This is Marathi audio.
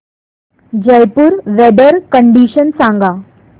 जयपुर वेदर कंडिशन सांगा